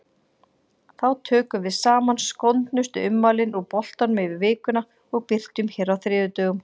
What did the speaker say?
Þá tökum við saman skondnustu ummælin úr boltanum yfir vikuna og birtum hér á þriðjudögum.